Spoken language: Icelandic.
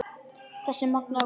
Þessi magnaða kona.